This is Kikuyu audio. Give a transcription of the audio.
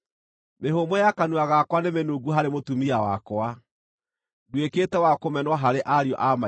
Mĩhũmũ ya kanua gakwa nĩmĩnungu harĩ mũtumia wakwa; nduĩkĩte wa kũmenwo harĩ ariũ a maitũ.